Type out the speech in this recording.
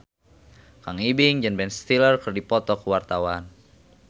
Kang Ibing jeung Ben Stiller keur dipoto ku wartawan